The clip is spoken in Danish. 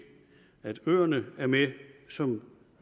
at øerne er med som